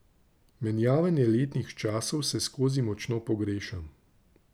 Menjavanje letnih časov vseskozi močno pogrešam.